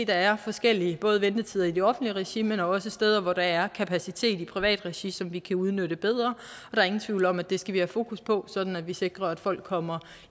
der er forskellige ventetider i det offentlige regi men også steder hvor der er kapacitet i privat regi som vi kan udnytte bedre der er ingen tvivl om at det skal vi have fokus på sådan at vi sikrer at folk kommer